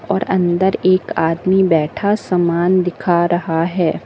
और अंदर एक आदमी बैठा समान दिखा रहा है।